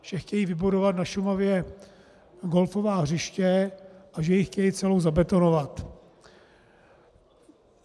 Že chtějí vybudovat na Šumavě golfová hřiště a že ji chtějí celou zabetonovat.